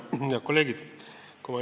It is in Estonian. Head kolleegid!